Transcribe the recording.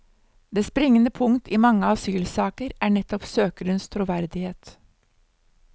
Det springende punkt i mange asylsaker er nettopp søkerens troverdighet.